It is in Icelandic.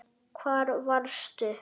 Hvar varstu?